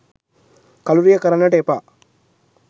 කලුරිය කරන්නට එපා.